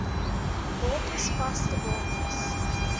bates vaste bates